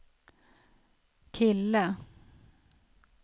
kille